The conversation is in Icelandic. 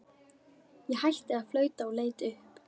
Ég hætti að flauta og leit upp.